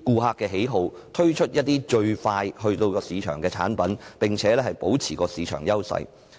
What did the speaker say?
顧客喜好並最快在市場推出產品，保持市場優勢。